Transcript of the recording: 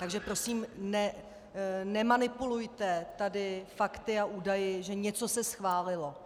Takže prosím, nemanipulujte tady fakty a údaji, že něco se schválilo.